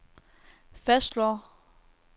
fastslår